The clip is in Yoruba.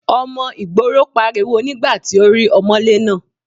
Ọmọ ìgboro pariwo nígbà tí ó rí ọmọ́lé náà.